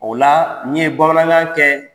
O la nin ye Bamanankan kɛ.